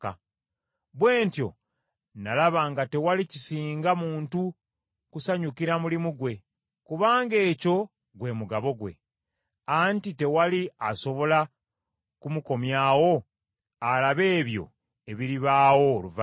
Bwe ntyo nalaba nga tewali kisinga muntu kusanyukira mulimu gwe, kubanga ekyo gwe mugabo gwe. Anti tewali asobola kumukomyawo alabe ebyo ebiribaawo oluvannyuma lwe.